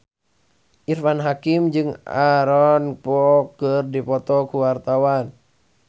Irfan Hakim jeung Aaron Kwok keur dipoto ku wartawan